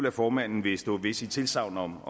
at formanden vil stå ved sit tilsagn om